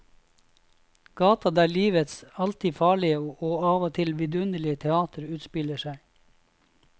Gata der livets alltid farlige og av og til vidunderlige teater utspiller seg.